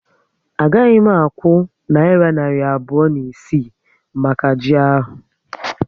A gaghị m akwụ nayira narị abụọ na isii maka ji ahu